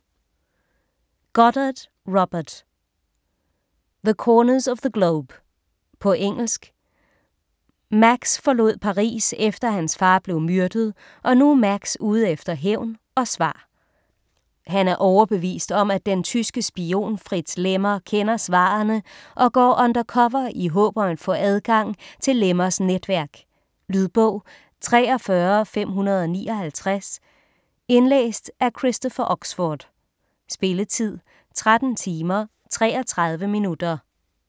Goddard, Robert: The corners of the globe På engelsk. Max forlod Paris efter hans far blev myrdet, og nu er Max ude efter hævn og svar. Han er overbevist om at den tyske spion Fritz Lemmer kender svarene og går undercover i håb om at få adgang til Lemmers netværk. Lydbog 43559 Indlæst af Christopher Oxford Spilletid: 13 timer, 33 minutter.